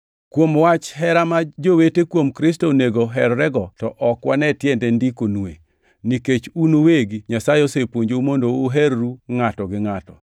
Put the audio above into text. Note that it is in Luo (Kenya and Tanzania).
To kuom wach hera ma jowete kuom Kristo onego oherrego to ok wane tiende ndikonue, nikech un uwegi Nyasaye osepuonjou mondo uherru ngʼato gi ngʼato.